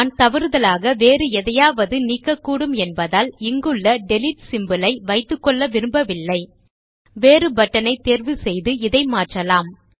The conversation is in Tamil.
நான் தவறுதலாக வேறு எதையாவது நீக்கக்கூடும் என்பதால் இங்குள்ள டிலீட் சிம்போல் ஐ வைத்துக்கொள்ள விரும்பவில்லை வேறு பட்டன் ஐத் தேர்வு செய்து இதை மாற்றலாம்